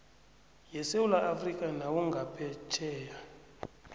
yesewula afrika nawungaphetjheya